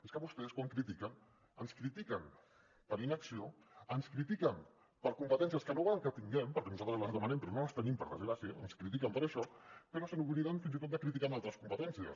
és que vostès quan critiquen ens critiquen per inacció ens critiquen per competències que no volen que tinguem perquè nosaltres les demanem però no les tenim per desgràcia ens critiquen per això però s’obliden fins i tot de criticar altres competències